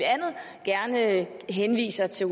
gerne henviser til